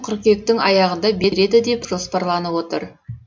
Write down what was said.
қыркүйектің аяғында береді деп жоспарланып отыр